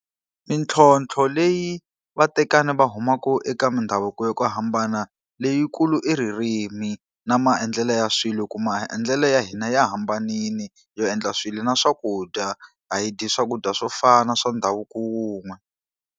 Mintlhotlho leyi vatekani va humaka eka mindhavuko yo hambana leyikulu i ririmi, na maendlelo ya swilo. Hikuva maendlelo ya hina ya hambanile yo endla swilo na swakudya, a hi dyi swakudya swo fana swa ndhavuko wun'we.